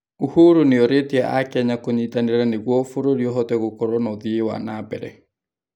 Uhuru nĩorĩtie akenya kũnyitanĩra nĩguo bũrũri ũhote gũkorwo na ũthii wa na mbere.